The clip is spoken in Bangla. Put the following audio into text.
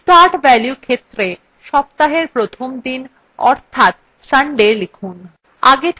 start value ক্ষেত্রে সপ্তাহের প্রথম দিন অর্থাৎ sunday লিখুন